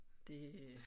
Det